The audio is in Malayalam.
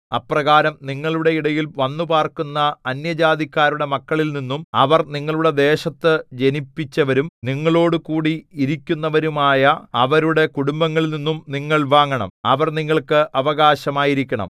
അപ്രകാരം നിങ്ങളുടെ ഇടയിൽ വന്നുപാർക്കുന്ന അന്യജാതിക്കാരുടെ മക്കളിൽനിന്നും അവർ നിങ്ങളുടെ ദേശത്തു ജനിപ്പിച്ചവരും നിങ്ങളോടുകൂടി ഇരിക്കുന്നവരുമായ അവരുടെ കുടുംബങ്ങളിൽനിന്നും നിങ്ങൾ വാങ്ങണം അവർ നിങ്ങൾക്ക് അവകാശമായിരിക്കണം